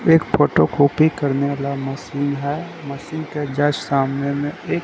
एक photo copy करने वाला मशीन है मशीन के जस्ट सामने में एक--